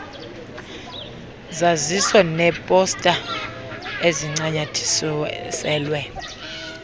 zaziso neeposta ezincanyathiselwe